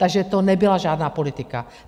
Takže to nebyla žádná politika.